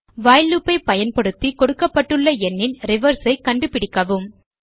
while loop ஐ பயன்படுத்தி கொடுக்கப்பட்டுள்ள எண்ணின் reverse ஐ கண்டுபிடிக்கவும்